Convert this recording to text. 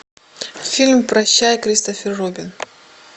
фильм прощай кристофер робин